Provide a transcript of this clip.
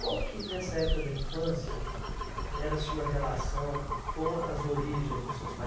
Qual que, nessa época da infância, era a sua relação com as origens dos seus pais?